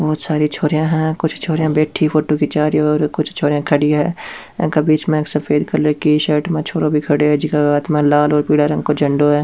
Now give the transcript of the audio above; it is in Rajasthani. बहुत सारी छोरिया है कुछ छोरिया बैठी है फोटो खींचा रही है और कुछ छोरिया खड़ी है एक बिच में सफ़ेद कलर के शर्ट में छोरा भी खड़ीयो जिका के हाथ में लाल और पिला रंग को झंडो है।